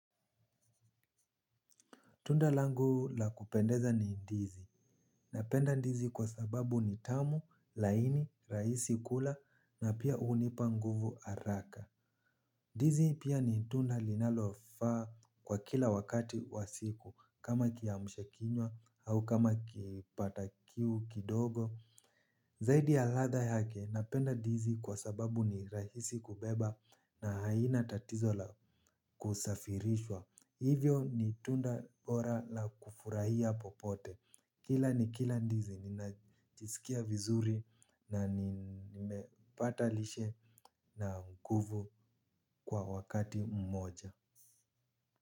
Tunda langu la kupendeza ni ndizi. Napenda ndizi kwa sababu ni tamu, laini, rahisi kula na pia hunipa nguvu haraka. Ndizi pia ni tunda linalofaa kwa kila wakati wa siku kama kiamsha kinywa au kama kipata kiu kidogo. Zaidi ya ladha yake napenda ndizi kwa sababu ni rahisi kubeba na haina tatizo la kusafirishwa. Hivyo ni tunda bora la kufurahia popote. Kila nikila ndizi, ninajisikia vizuri na nimepata lishe na nguvu kwa wakati mmoja.